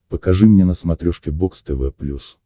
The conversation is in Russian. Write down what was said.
покажи мне на смотрешке бокс тв плюс